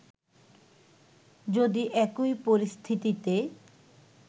যদি একই পরিস্থিতিতে